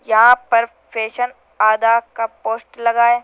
यहां पर फैशन आधा का पोस्ट लगा है।